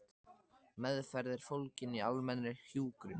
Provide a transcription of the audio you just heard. Meðferð er fólgin í almennri hjúkrun.